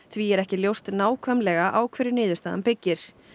því er ekki ljóst nákvæmlega á hverju niðurstaðan byggir